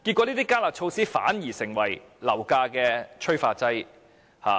這些"加辣"措施反而變成樓價的催化劑。